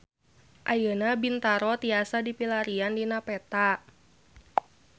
Ayeuna Bintaro tiasa dipilarian dina peta